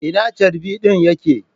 Ina charbi ɗin ya ke?